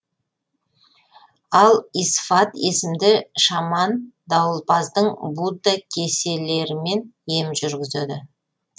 ал исфат есімді шаман дауылпаздың будда кеселерімен ем жүргізеді